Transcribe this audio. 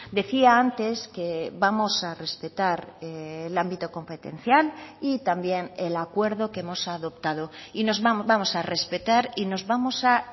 decía antes que vamos a respetar el ámbito competencial y también el acuerdo que hemos adoptado y nos vamos a respetar y nos vamos a